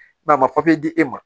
a ma di e ma